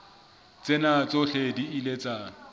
tsena tsohle di ile tsa